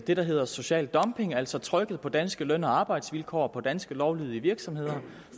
det der hedder social dumping altså trykket på danske løn og arbejdsvilkår og på danske lovlydige virksomheder